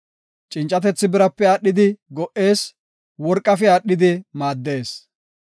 Cincatethi birape aadhidi go77ees; worqafe aadhidi maaddees.